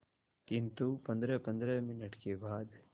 किंतु पंद्रहपंद्रह मिनट के बाद